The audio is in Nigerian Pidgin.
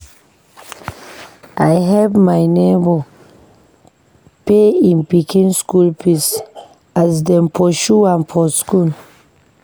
I help my nebor pay im pikin skool fees as dem pursue am for skool.